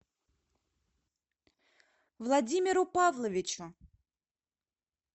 владимиру павловичу